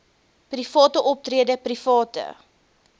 private optrede private